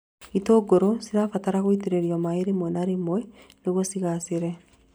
Itũngũrũ cibataraga gũitĩrĩrio maĩ rĩmwe na rĩmwe nĩguo cigaacĩre